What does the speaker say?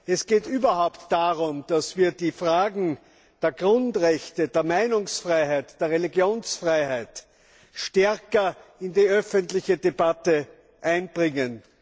Es geht überhaupt darum, dass wir die Fragen der Grundrechte, der Meinungsfreiheit, der Religionsfreiheit stärker in die öffentliche Debatte einbringen.